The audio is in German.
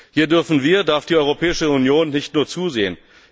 Hier dürfen wir, darf die Europäische Union nicht nur zusehen.